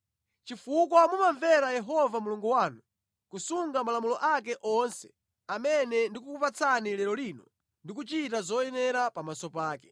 chifukwa mumamvera Yehova Mulungu wanu, kusunga malamulo ake onse amene ndikukupatsani lero lino ndi kuchita zoyenera pamaso pake.